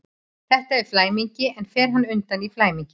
Þetta er flæmingi, en fer hann undan í flæmingi?